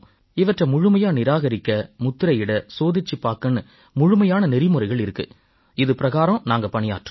இவற்றை முழுமையா நிராகரிக்க முத்திரையிட சோதிச்சுப் பார்க்கன்னு முழுமையான நெறிமுறைகள் இருக்கு இது பிரகாரம் நாங்க பணியாற்றறோம்